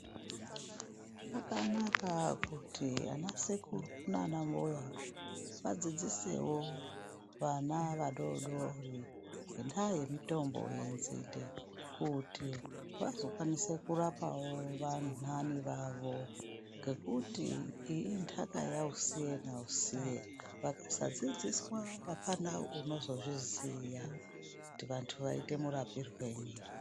Zvakanaka kuti ana sekuru nanambuya wadzidzisewo wana wadodori ngendaa yemutombo wenzide kuti wazokwanisawo kurapawo wanani wawo kuti iyi inhaka yausiye nausiye vangasadzidziswa hapana unozoziya kuti wandu waiita murapirwei.